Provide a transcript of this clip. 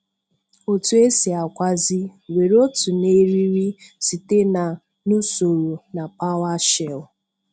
Otu esi akwazi: were otú na eriri site na n'usoro na PowerShell?